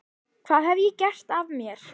Hvað hef ég gert af mér?